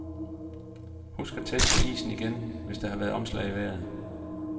Husk at teste isen igen, hvis der har været omslag i vejret.